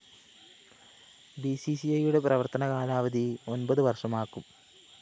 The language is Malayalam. ബിസിസിഐയുടെ പ്രവര്‍ത്തനകാലാവധി ഒന്‍പതു വര്‍ഷമാക്കും